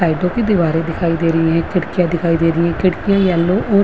आइटों की दीवारे दिखाई दे रही हैं खिड़कियां दिखाई दे रही हैं खिड़की येल्लो और --